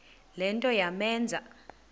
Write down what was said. le nto yamenza